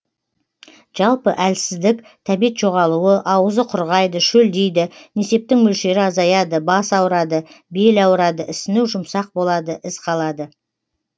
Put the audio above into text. жалпы әлсіздік тәбет жоғалуы ауызы құрғайды шөлдейді несептің мөлшері азаяды бас ауырады бел ауырады ісіну жұмсақ болады із қалады